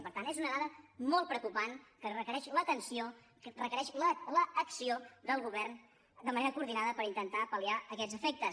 per tant és una dada molt preocupant que requereix l’atenció que requereix l’acció del govern de manera coordinada per intentar pal·liar aquest efectes